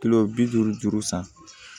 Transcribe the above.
Kilo bi duuru juru san